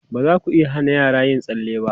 Ba za ku iya hana yara yin tsalle ba.